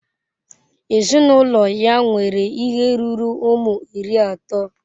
Ezinụlọ ya nwere ihe ruru ụmụ iri atọ.